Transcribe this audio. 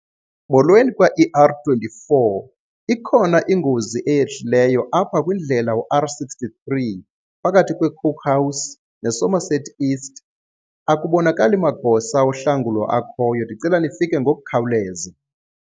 Molweni kwa-E_R twenty-four. Ikhona ingozi eyehlileyo apha kwindlela uR sixty-three phakathi kweCookhouse neSomerset East, akubonakali magosa ohlangulo akhoyo. Ndicela nifike ngokukhawuleza.